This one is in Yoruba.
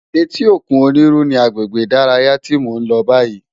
Éti ókún Oniru ni àgbégbé idàráyá ti mó n lò bàyí